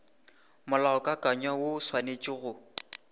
molaokakanywa woo o swanetše go